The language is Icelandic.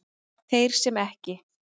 Þeir sem ekki